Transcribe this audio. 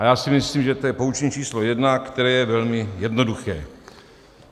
A já si myslím, že to je poučení číslo jedna, které je velmi jednoduché.